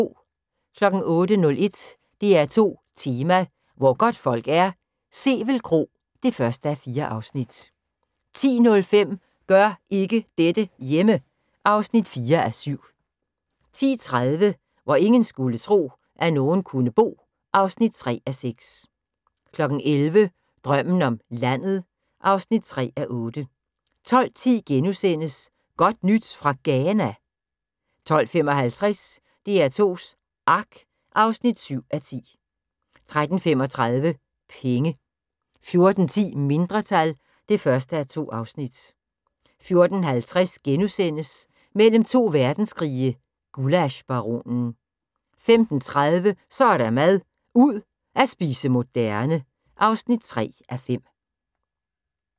08:01: DR2 Tema: Hvor godtfolk er - Sevel Kro (1:4) 10:05: Gør ikke dette hjemme! (4:7) 10:30: Hvor ingen skulle tro, at nogen kunne bo (3:6) 11:00: Drømmen om landet (3:8) 12:10: Godt nyt fra Ghana? * 12:55: DR2s Ark (7:10) 13:35: Penge 14:10: Mindretal (1:2) 14:50: Mellem to verdenskrige – Gullaschbaronen * 15:30: Så er der mad - ud at spise moderne (3:5)